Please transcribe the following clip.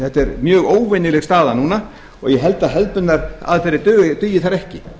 þetta er mjög óvenjuleg staða núna og ég held að hefðbundnar aðferðir dugi þar ekki